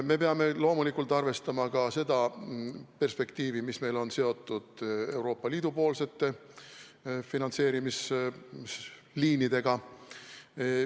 Me peame loomulikult arvestama ka seda perspektiivi, mis on seotud Euroopa Liidu finantseerimisliinidega.